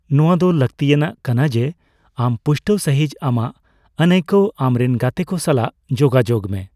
ᱱᱚᱣᱟ ᱫᱚ ᱞᱟᱹᱠᱛᱤᱭᱟᱱᱟᱜ ᱠᱟᱱᱟ ᱡᱮ ᱟᱢ ᱯᱩᱥᱴᱟᱹᱣ ᱥᱟᱹᱦᱤᱡᱽ ᱟᱢᱟᱜ ᱟᱹᱱᱟᱹᱭᱠᱟᱹᱣ ᱟᱢ ᱨᱮᱱ ᱜᱟᱛᱮ ᱠᱚ ᱥᱟᱞᱟᱜ ᱡᱳᱜᱟᱡᱳᱜ ᱢᱮ ᱾